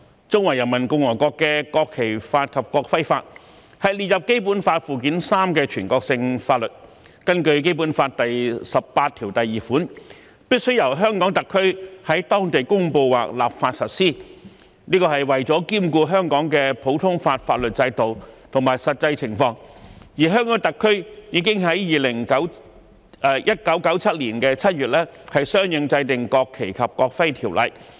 中華人民共和國的《國旗法》及《國徽法》是列入《基本法》附件三的全國性法律，根據《基本法》第十八條第二款，必須由香港特區在當地公布或立法實施，這是為了兼顧香港的普通法法律制度及實際情況，而香港特區已於1997年7月相應制定《國旗及國徽條例》。